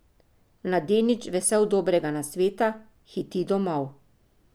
Mladenič, vesel dobrega nasveta, hiti domov.